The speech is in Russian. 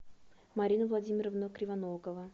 марина владимировна кривоногова